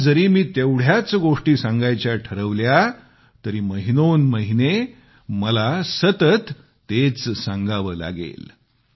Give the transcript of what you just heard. आज जरी मी तेवढ्याच गोष्टी सांगायच्या ठरवल्या तरी महिनो न महिने मला सतत तेच सांगावे लागेल